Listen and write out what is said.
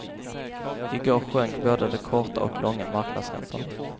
I går sjönk både de korta och långa marknadsräntorna.